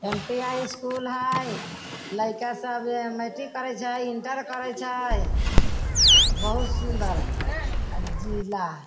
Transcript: MPI. School हई। लइका सब मैट्रिक करीत हई इंटर करीत हई बहुत सुन्दर हई अ जिला हई।